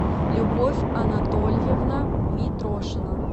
любовь анатольевна митрошина